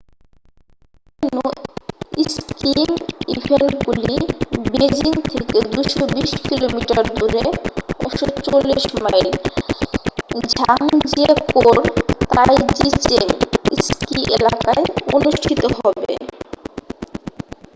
অন্যান্য স্কিয়িং ইভেন্টগুলি বেজিং থেকে 220 কিমি দূরে 140 মাইল ঝাংজিয়াকৌ-র তাইজিচেং স্কি এলাকায় অনুষ্ঠিত হবে।